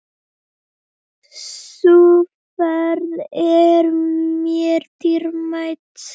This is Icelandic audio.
Sú ferð er mér dýrmæt.